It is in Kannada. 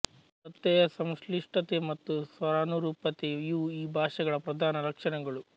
ಪ್ರತ್ಯಯ ಸಂಶ್ಲಿಷ್ಟತೆ ಮತ್ತು ಸ್ವರಾನುರೂಪತೆ ಇವು ಈ ಭಾಷೆಗಳ ಪ್ರಧಾನ ಲಕ್ಷಣಗಳು